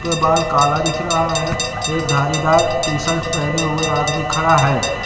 ये बाल काला दिख रहा है एक धारीदार टी शर्ट पहने हुए आदमी खड़ा है।